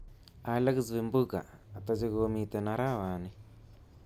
Alexa vimbunga ata chekomiten arawani?